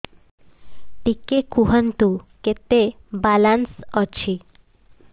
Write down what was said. ଟିକେ କୁହନ୍ତୁ କେତେ ବାଲାନ୍ସ ଅଛି